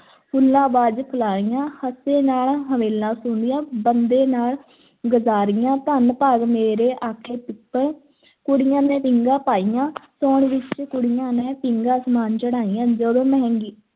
ਫੁੱਲਾਂ ਬਾਝ ਫਲਾਹੀਆਂ, ਹੱਸੇ ਨਾਲ ਹਮੇਲਾਂ ਸੋਂਹਦੀਆਂ, ਬੰਦਾਂ ਨਾਲ ਗਜਾਰੀਆਂ, ਧੰਨ ਭਾਗ ਮੇਰੇ ਆਖੇ ਪਿੱਪਲ ਕੁੜੀਆਂ ਨੇ ਪੀਂਘਾਂ ਪਾਈਆਂ ਸਾਉਣ ਵਿੱਚ ਕੁੜੀਆਂ ਨੇ, ਪੀਂਘਾਂ ਅਸਮਾਨ ਚੜ੍ਹਾਈਆਂ, ਜਦੋਂ ਮਹਿੰਦੀ